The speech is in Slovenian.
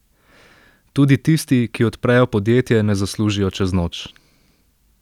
Tudi tisti, ki odprejo podjetje, ne zaslužijo čez noč.